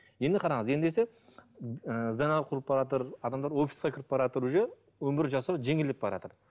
енді қараңыз ендеше ы адамдар офиске кіріп баратыр уже өмір жасау жеңілдеп бараатыр